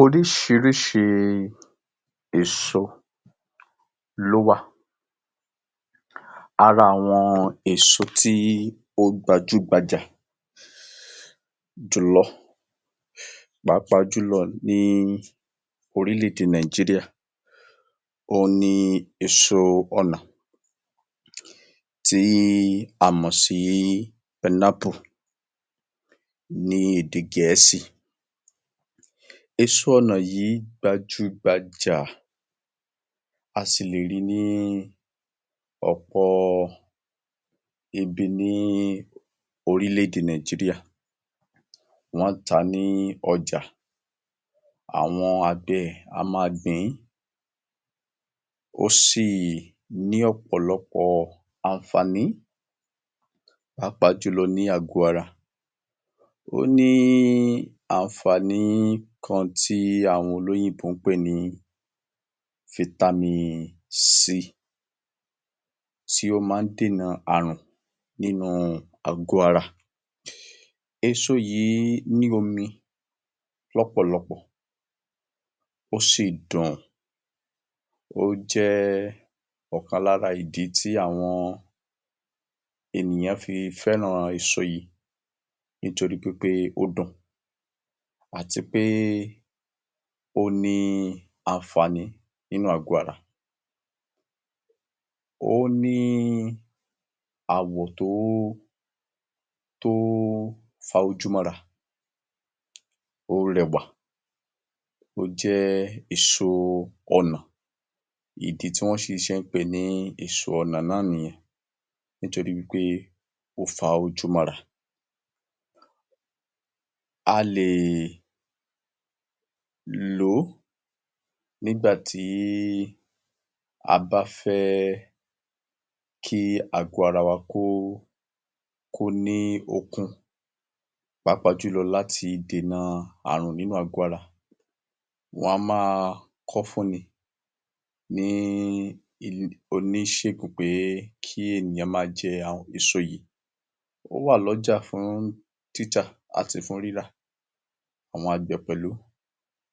Oríṣiríṣi èso ló wa. Ara àwọn eso tó gbajúgbajà jùlọ, pàápàá jùlọ ní orílẹ̀-èdè Nàìjíríà òun ní èso ọ̀nà tí a mọ̀ sí ní èdè gẹ̀ẹ́sì. Èso ọ̀nà yìí gbajúgbajà, a sì lè rí ní ọ̀pọ̀ ibi ní orílẹ̀-èdè Nàìjíríà. Wọ́n ń tàá ní ọjà. Àwọn àgbẹ̀ á máa gbin. Ó sì ni ọ̀pọ̀lọpọ̀ àǹfàní pàápàá jùlọ ní àgọ ara. Ó ní àǹfàní kan tí àwọn olóyìnbó ń pè ni tí ó ma n dènà ààrùn nínu àgọ ara. Èso yìí ní omi lọ́pọ̀lọpọ̀, ó sì dùn. Ó jẹ́ ọ̀kan lára ìdí tí àwọn ènìyàn fì fẹ́ran èso yìí, nítorí pé ó dùn, àti pé ó ní àǹfàní ní àgọ ara. Ó ní àwọ̀ tó fa ojú mọ́ra. Ó rẹwà, ó jẹ́ èso ọ̀nà. Ìdí tí wọn ṣe fí n pèé ní èso ọnà na nìyẹn nítorí wí pé ó fa ojú mọ́ra. A lè lòó nígbà tí a bá fẹ kí àgọ ara wá ko ni ókun. Pàápàá jùlọ lati dènà ààrùn nínú àgọ ara. Wọn á máa kọ fún ní ní Oníṣègùn kí ènìyàn máa jẹ àwọn èso yìí. Ó wà lọ́jà fún títà àti fún rírà. Àwọn àgbẹ̀ pẹ̀lu